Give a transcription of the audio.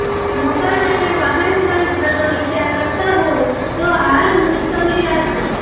મકાન અને વાહન ખરીદવાનો વિચાર કરતા હોવ તો હાલ મુલતવી રાખજો